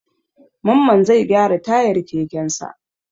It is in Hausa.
Mamman zai gyara tayar kekensa.